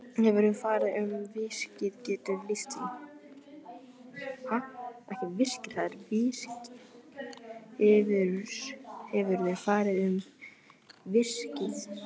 Hefurðu farið um virkið, geturðu lýst því?